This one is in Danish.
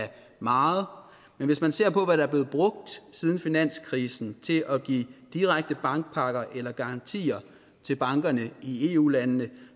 meget men hvis man ser på hvad der er blevet brugt siden finanskrisen til at give i direkte bankpakker eller garantier til bankerne i eu landene